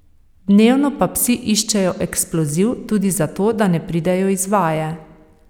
Dnevno pa psi iščejo eksploziv, tudi zato da ne pridejo iz vaje.